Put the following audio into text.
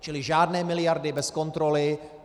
Čili žádné miliardy bez kontroly.